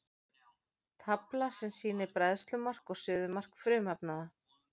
tafla sem sýnir bræðslumark og suðumark frumefnanna